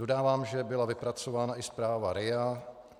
Dodávám, že byla vypracována i zpráva RIA.